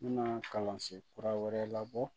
N bɛna kalansen kura wɛrɛ labɔ